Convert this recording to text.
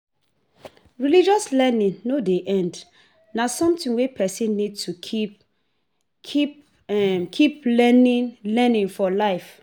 Religious learning no dey end, na something wey person need to keep learning for life